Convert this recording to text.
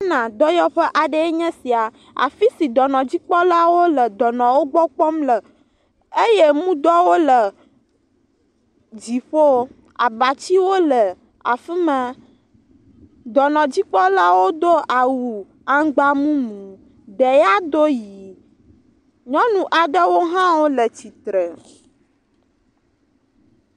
dɔyɔƒe aɖee nye sia. Afi si dɔnɔdzikpɔlawo le dɔnɔwo gbɔ kpɔm le eye mudɔwo le dziƒo. abatsiwo le afi ma. Dɔnɔdzikpɔlawo do awu aŋgba mumu. Ɖeya doo ʋi. nyɔnu aɖewo hã wo le tsitre.